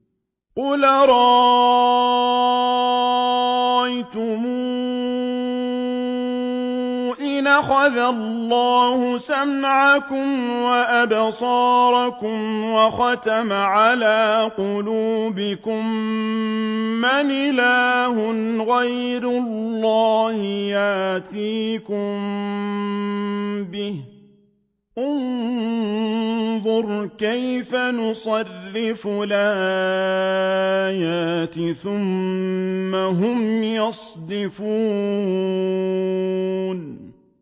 قُلْ أَرَأَيْتُمْ إِنْ أَخَذَ اللَّهُ سَمْعَكُمْ وَأَبْصَارَكُمْ وَخَتَمَ عَلَىٰ قُلُوبِكُم مَّنْ إِلَٰهٌ غَيْرُ اللَّهِ يَأْتِيكُم بِهِ ۗ انظُرْ كَيْفَ نُصَرِّفُ الْآيَاتِ ثُمَّ هُمْ يَصْدِفُونَ